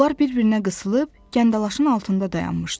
Onlar bir-birinə qısılıb, gəndalaşın altında dayanmışdılar.